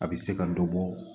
A bɛ se ka dɔ bɔ